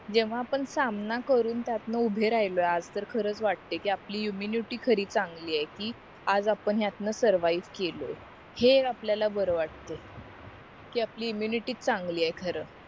जेव्हा आपण सामना करून त्यांतन उभे राहिलो आज तर खरंच वाटतय कि आपली इम्म्युनिटी खरी चान्गली आहे कि आज आपण ह्यांत सरवाईव्ह केलीय हे आपल्याला बरं वाटतंय कि आपली इम्म्युनिटी चांगली आहे खार